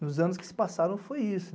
Nos anos que se passaram, foi isso.